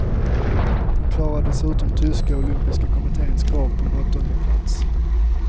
Hon klarade dessutom tyska olympiska kommittens krav på en åttondeplats.